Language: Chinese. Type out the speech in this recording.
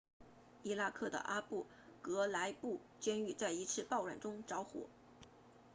伊拉克的阿布格莱布监狱在一次暴乱中着火